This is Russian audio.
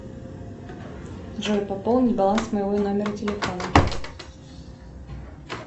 джой пополни баланс моего номера телефона